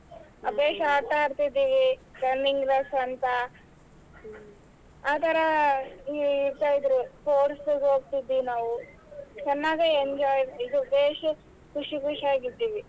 ಅ ಬೇಷ್ ಆಟಾ ಆಡತಿದವಿ running race ಅಂತಾ ಆ ತರಾ course ಗ ಹೋಗ್ತೀದ್ವಿ ನಾವು ಚೆನ್ನಾಗೆ enjoy ಇದ್ ಬೇಷ್ ಖುಷಿ ಖುಷಿಯಾಗಿದ್ವಿ.